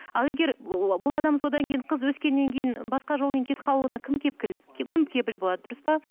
ал егер бұл адам содан кейін қыз өскеннен кейін басқа жолмен кетіп қалуына кім кім кепіл болады дұрыс па